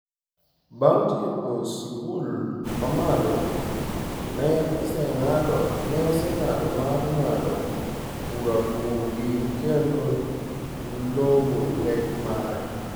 Bang’ tieko sikul ma malo, ne oseng’ado mar ng’ado bura kuomgi kendo "luwo lek mare".